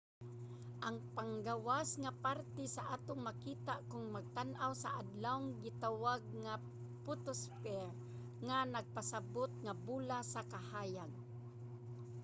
ang panggawas nga parte nga atong makita kon magtan-aw sa adlaw gitawag nga photosphere nga nagpasabut nga bola sa kahayag